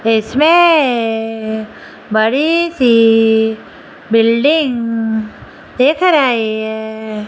इसमें बड़ी सी बिल्डिंग दिख रही है।